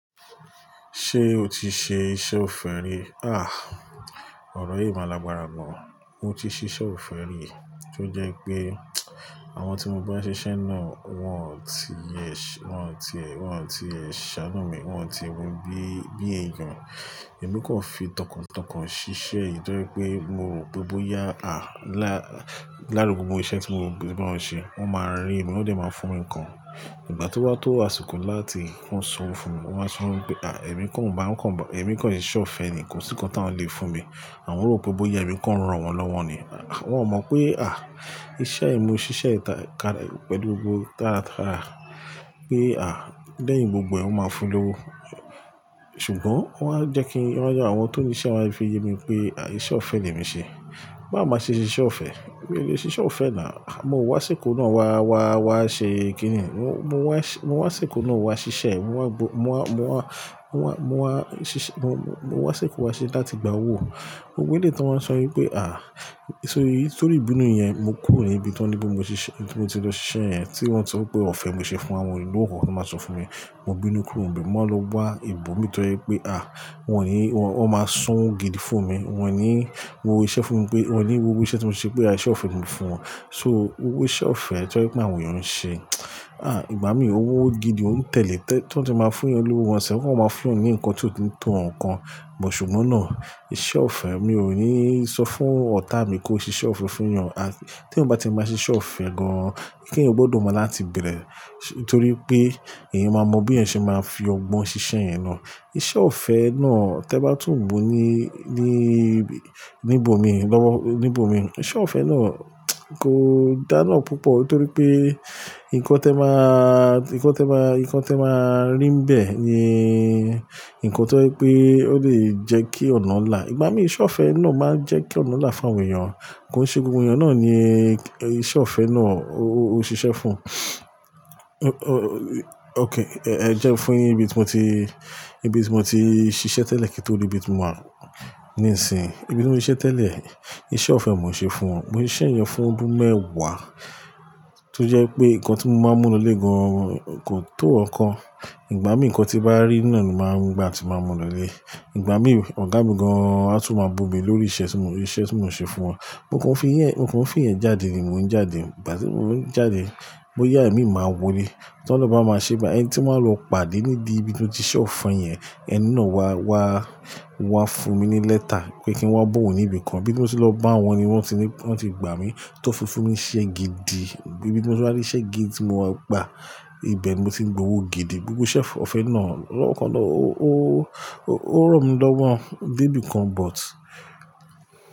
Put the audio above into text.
Ṣé o ti ṣe iṣẹ́ ọ̀fẹ́ rí? Ah, ọ̀rọ̀ yìí máa lagbara gan. Mo ti ṣe iṣẹ́ ọ̀fẹ́ rí, tí ó jẹ́ wipé àwọn tí mo bá ń ṣiṣẹ́ náà wọ́n ò tí ì yẹ, wọ́n ò tí, wọ́n ò tí ì ṣánu mi, wọ́n ò tí ì wù bí, bí ẹ̀yàn. Emi kan fi tọkàntọkàn ṣiṣẹ́ yìí torí pé mo rò pé bóyá, à, lá, láduru gbogbo iṣẹ́ tí mo báwon ń ṣe, wọ́n máa rí mi, wọ́n dé máa fún mi ni nǹkan. Ìgbà tí wọ́n tó asiko láti máa sọ fún mi, wọ́n máa sọ pé, à, èmi kan ò bá ń kàn ba, èmi kan ṣe iṣẹ́ ọ̀fẹ́ nìkan, kò sí nǹkan tí wọ́n le fún mi. Àwọn rò pé bóyá èmi kan rán wọn lọ́wọ́ ni. Wọ́n ò mọ pé, à, iṣẹ́ mi ò ṣiṣẹ́ yi pẹ̀lú gbogbo tàràtàrà. Pé, à, lẹ́yìn gbogbo ẹ̀, wọn máa fún lówó. Ṣùgbọ́n wọ́n á jẹ́ kí wọn já, àwọn tó ní iṣẹ́ wọ́n á fi ye mi pé, à, iṣẹ́ ọ̀fẹ́ ni èmi ṣe. Báwo máa ṣe ṣiṣẹ́ ọ̀fẹ́. Mi le siṣẹ́ ọ̀fẹ́ náà, ah, mo wá síkò náà wá, wá, wá ṣe kíni? Mo, mo wá, mo wá síkò náà wá ṣiṣẹ́, mo wá gbó, mo wá, mo wá, mo wá, mo wá, mo wá, mo wá síkò wá ṣe láti gba owó. Gbogbo eleyi tí wọ́n san wípé, à, sórí, sórí ìbínú yẹn, mo kúrò ní ibi tí wọ́n ní pé mo ṣe ṣiṣẹ́, tí mo ti lọ ṣe iṣẹ́ yẹn tí wọ́n sọ pé ọ̀fẹ́ mo ṣe fún àwọn onílùúkùn tó máa sọ fún mi. Mo bínú kúrò níbẹ̀, mo lọ wá ibòmí torí pé, à, wọn ò ní, wọn máa san gidi fún mi. Wọn ò ní wó iṣẹ́ fún mi pé, wọn ò ní wó iṣẹ́ tí mo ṣe pé à iṣẹ́ ọ̀fẹ́ ni mo fún wọn. So owó iṣẹ́ ọ̀fẹ́, toye pé àwọn èèyàn ń ṣe. Ìgbà mí ò wó gidi, ò n tẹ̀lé tẹ́, tí wọ́n ti máa fún ọ lówó wọn sẹ́, wọ́n máa fún ọ ní nǹkan tí ó tó nǹkan. Bùt ùgbọ́n náà iṣẹ́ ọ̀fẹ́ mi ò ní sọ fún ọ̀tá mi kó ṣe iṣẹ́ ọ̀fẹ́ fún èèyàn. Ah, tí ò bá ti máa ṣe iṣẹ́ ọ̀fẹ́ gan-an, kí èèyàn gbọ́dọ̀ mọ láti bẹ̀rẹ̀. Torí pé èèyàn máa mọ bí èèyàn ṣe máa fi ọgbọ́n ṣiṣẹ́ yen náà. Iṣẹ́ ọ̀fẹ́ náà, tí ẹ bá tún bu ní, ní, níbò mi lọ́wọ́, níbò mi, iṣẹ́ ọ̀fẹ́ náà kò dáná púpọ̀ torí pé nǹkan tí ẹ máa, nǹkan tí ẹ máa, nǹkan tí ẹ máa rí ń bẹ́ẹ̀ ni nǹkan tí ó je pé, ó lè jẹ́ kí ọ̀nà ń là. Ìgbà mí iṣẹ́ ọ̀fẹ́ náà máa ń jẹ́ kí ọ̀nà ń là fún àwọn èèyàn. Kò n se gbogbo èèyàn náà ni iṣẹ́ ọ̀fẹ́ náà ó, ó, ó ṣiṣẹ́ fún. Ẹ jẹ́ fún yín ibi tí mo ti, ibi tí mo ti ṣiṣẹ́ tẹ́lẹ̀ kí tó le ibi tí mò wà níìsín. Ibi tí mo ṣe tẹ́lẹ̀, iṣẹ́ ọ̀fẹ́ mo ṣe fún wọn. Mo ṣise yen fún ọdún mẹ́wàá, tó jẹ́ pé nǹkan tí mo máa mú lọlé gan kò tó ọ̀ kan. Ìgbà mí nǹkan tí bá rí iná ni màá gbà tí màá mú lọlé. Ìgbà mí ọ̀gá mi gan-an á tún máa bù mi lórí iṣẹ́ tí mo, iṣẹ́ tí mò ń ṣe fún wọn. Mo kàn fi iyẹn, mo kàn fi iyẹn jáde ni mò ń jáde. Ìgbà tí mò ń jáde, bóyá èmi máa wò lé, tí Ọlọ́run bá máa ṣe bá ẹni tí màá lọ pàdé níbí ibi tí ó ti ṣe ọ̀fẹ́ yẹn, ẹni náà wá, wá, wá fún mi ní lẹ́tà pé kí n wá bo òun níbi kan. Ibi tí mo ti lọ bá wọn ni wọ́n ti ní, wọ́n ti gbà mí tó fúnni iṣẹ́ gidi. Ibi tí mo ti rí iṣẹ́ gidi tí mo máa gbà. Ìbẹ̀ ni mo ti ń gbowó gidi. Gbogbo iṣẹ́ ọ̀fẹ́ náà lọ́wọ́kan lọ, ó, ó, ó ràn mí lọ́wọ́ dé ibìkan but.